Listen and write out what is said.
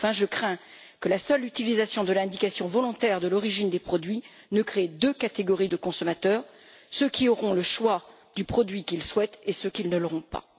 Enfin, je crains que la seule utilisation de l'indication volontaire de l'origine des produits n'engendre deux catégories de consommateurs ceux qui auront le choix du produit qu'ils souhaitent et ceux qui ne l'auront pas.